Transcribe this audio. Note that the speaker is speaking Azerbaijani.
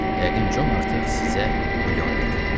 Yəqin Con artıq sizə bulyon gətirib.